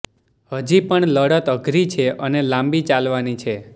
હજી પણ લડત અઘરી છે અને લાંબી ચાલવાની છે